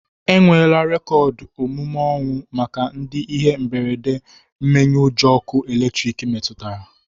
Enwela rekoodu omume ọnwụ maka ndị ihe mberede mmenyeujọ ọkụ elektriki metụtara